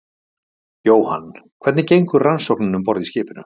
Jóhann: Hvernig gengur rannsóknin um borð í skipinu?